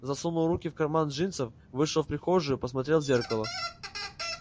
засунул руки в карманы джинсов вышел в прихожую посмотрел в зеркало